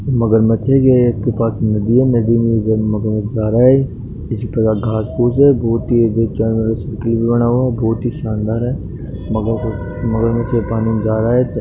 एक मगरमच्छ दिखाई दे रहा है इसके पास में नदी है नदी में मगरमच्छ जा रहा है कुछ अगल-बगल घास फूस है बहुत ही शानदार है मगरमच्छ पानी में जा रहा है।